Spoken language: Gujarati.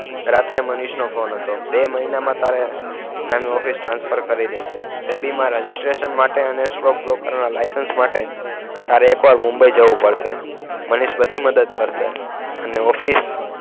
રાત્રે મનીષનો ફોનહતો બે મહિનામાં તારે નવી ઓફિસ transfer કરી દેશે સેબી મા registration માટે અને stock broker ના license માટે તારે એક વાર મુંબઈ જવું પડશે મનીષ બધી મદદ કરસે અને ઓફિસ